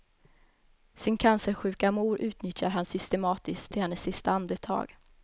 Sin cancersjuka mor utnyttjar han systematiskt till hennes sista andetag.